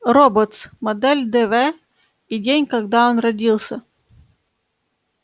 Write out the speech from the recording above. роботс модель дв и день когда он родился